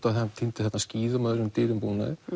að hann týndi þarna skíðum og öðrum dýrum búnaði